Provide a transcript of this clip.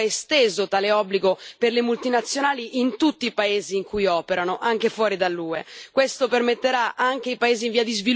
Rispetto alla proposta iniziale, il Parlamento ha esteso tale obbligo per le multinazionali in tutti i paesi in cui operano, anche fuori dall'UE.